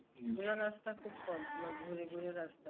সোজা রাস্তা খুব কম তোমার ঘুরে ঘুরে রাস্তা